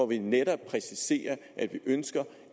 vi netop præciserer at vi ønsker